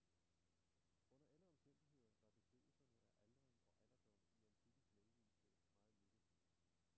Under alle omstændigheder var beskrivelserne af aldring og alderdom i antikkens lægevidenskab meget negative.